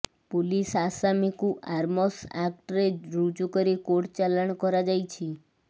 police ଆସାମୀକୁ arms ଆକ୍ଟରେ ରୁଜୁକରି କୋର୍ଟ ଚାଲାଣ କରାଯାଇଛି